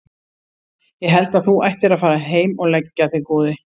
Ég held að þú ættir að fara heim og leggja þig góði!